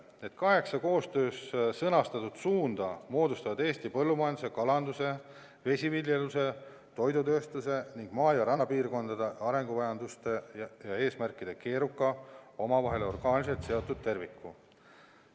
Need kaheksa koostöös sõnastatud suunda moodustavad Eesti põllumajanduse, kalanduse, vesiviljeluse, toidutööstuse ning maa- ja rannapiirkondade arenguvajaduste ja eesmärkide keeruka, omavahel orgaaniliselt seotud terviku.